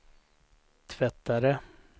tvättare